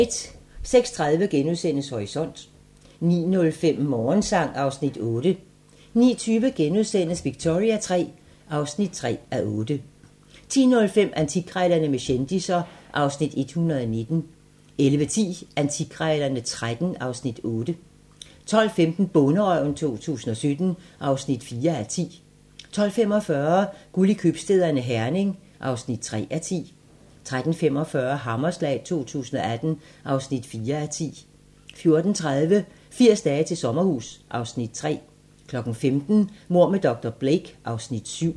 06:30: Horisont * 09:05: Morgensang (Afs. 8) 09:20: Victoria III (3:8)* 10:05: Antikkrejlerne med kendisser (Afs. 119) 11:10: Antikkrejlerne XIII (Afs. 8) 12:15: Bonderøven 2017 (4:10) 12:45: Guld i købstæderne - Herning (3:10) 13:45: Hammerslag 2018 (4:10) 14:30: 80 dage til sommerhus (Afs. 3) 15:00: Mord med dr. Blake (Afs. 7)